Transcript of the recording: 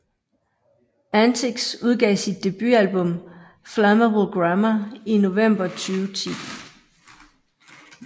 Antix udgav sit debutalbum Flammable Grammar i november 2010